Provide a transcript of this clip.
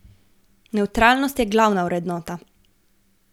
Nevtralnost je glavna vrednota.